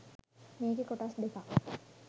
මේකෙ කොටස් දෙකක්